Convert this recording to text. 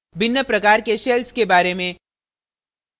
भिन्न प्रकार के shells के बारे में